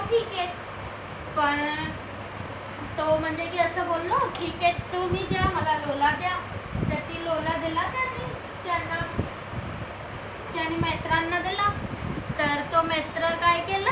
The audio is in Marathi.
पण तो म्हणे की असं बोललो ठीक आहे तुम्ही द्या मला लोला द्या त्यातील लोला दिला त्याने त्यांना त्याने मित्रांना दिला तर तो मित्र काय केलं